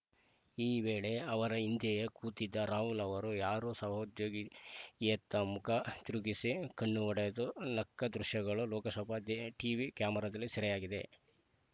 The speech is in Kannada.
ಈ ವೇಳೆ ಅವರ ಹಿಂದೆಯೇ ಕೂತಿದ್ದ ರಾಹುಲ್‌ ಅವರು ಯಾರೋ ಸಹೋದ್ಯೋಗಿಯತ್ತ ಮುಖ ತಿರುಕಿಸಿ ಕಣ್ಣು ಹೊಡೆದು ನಕ್ಕ ದೃಶ್ಯಗಳು ಲೋಕಸಭಾ ಟೀವಿ ಕ್ಯಾಮರಾದಲ್ಲಿ ಸೆರೆಯಾಗಿವೆ